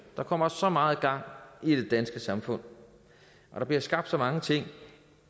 der kommer så meget gang i det danske samfund og der bliver skabt så mange ting